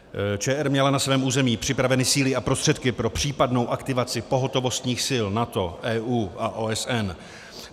ČR měla na svém území připraveny síly a prostředky pro případnou aktivaci pohotovostních sil NATO, EU a OSN.